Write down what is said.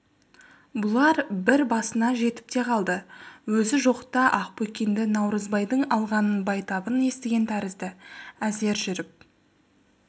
бұлар қыр басына жетіп те қалды өзі жоқта ақбөкенді наурызбайдың алғанын байтабын естіген тәрізді әзер жүріп